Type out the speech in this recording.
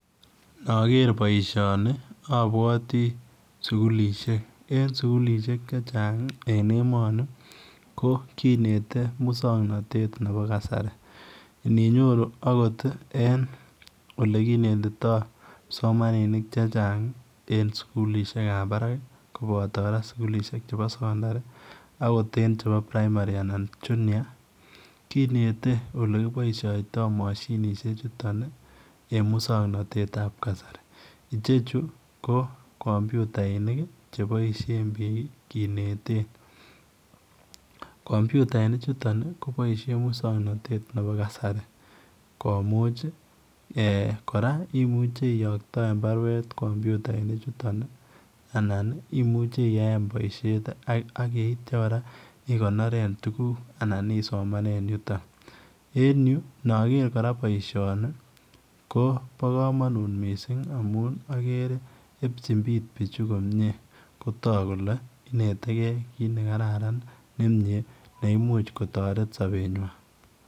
Yankee baishoni abwatik sukulishek chechan en emoni ko kinete muswaknatet Nebo kasarta ninyoru okot en onekinetitoi kipsomaninik chechang en sukulishek ab barak kobato sukulishek chebo sekondari akoten chebo primary anan junior kinete olekiboishotoi mashinishek chuton en muswaknatet ab kasari Chechi kocomputainik chebaishen bik kineten computainik chuton kobaishen muswaknatet Nebo kasari komuch koraa imuche iyaktaen barwet en computainik chuton anan imuche iyaen baishet agitai koraa igonoren tuguk anan isomanen yuton en you akere koraa baishoni ko na kamanut missing amun akare yebchin bichu komie kotak kole integrity kit nekararan neimuch kotare baishonitonnebo sabtnywan